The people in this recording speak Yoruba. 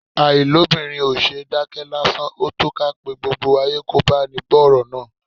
Àìlóbìnrin ò ṣeé dákẹ́ lásán; ó tó ká pe gbogbo ayé kò báni gbọ́ ọ̀rọ̀ náà.